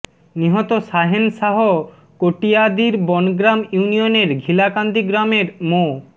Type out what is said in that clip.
নিহত শাহেন শাহ কটিয়াদীর বনগ্রাম ইউনিয়নের ঘিলাকান্দি গ্রামের মো